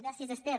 gràcies esther